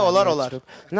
Olar, olar.